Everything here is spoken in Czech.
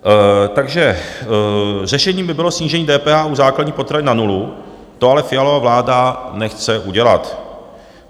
Takže řešením by bylo snížení DPH u základních potravin na nulu, to ale Fialova vláda nechce udělat.